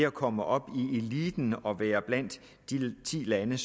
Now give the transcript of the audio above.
komme op i eliten og være blandt de ti lande